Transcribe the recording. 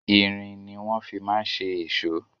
Irin ni wọ́n fi ma ń ṣe èṣó.